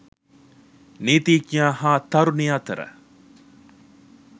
නීතිඥයා හා තරුණිය අතර